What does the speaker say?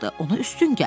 Ona üstün gəldi.